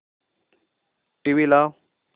TV लाव